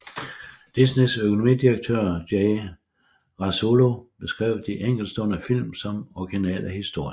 Disneys økonomidirektør Jay Rasulo beskrev de enkeltstående film som originale historier